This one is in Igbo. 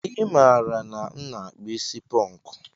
I mara na m na akpu isi ponku